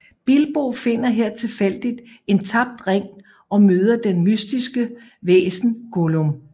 Bilbo finder her tilfældigt en tabt ring og møder det mystiske væsen Gollum